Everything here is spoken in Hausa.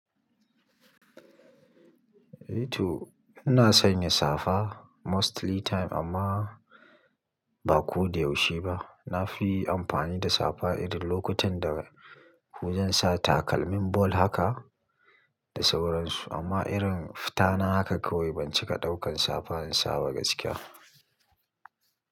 Eh to ina sanya safa mostly time amma ba ko da yaushe ba. Na fi amfani da safa irin lokutan da wajen sa takalmin ball haka da sauransu amma irin fita na haka kawai bancika ɗaukan safa in saba gaskiya.